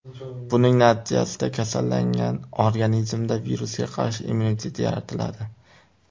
Buning natijasida kasallangan organizmda virusga qarshi immunitet yaratiladi.